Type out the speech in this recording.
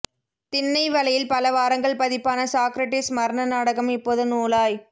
திண்ணை வலையில் பல வாரங்கள் பதிப்பான சாக்ரடிஸ் மரண நாடகம் இப்போது நூலாய்